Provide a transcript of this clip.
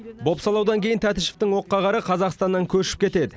бопсалаудан кейін тәтішевтің оққағары қазақстаннан көшіп кетеді